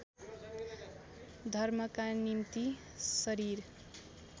धर्मका निम्ति शरीर